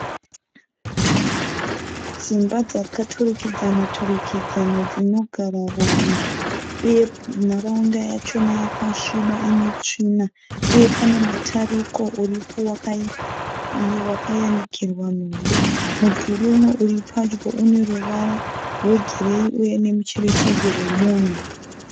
Dzimba dzakaturikidzana turikidzana dzinogara vanhu uye nharaunda yachona yakasviba inetsvina uye pane mutariko uripo wakayanikirwa nhumbi. Mudhuri umwe uri pedyo une ruvara rwegireyi uye nemucherechedzo wemunhu.